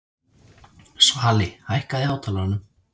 Svali, hækkaðu í hátalaranum.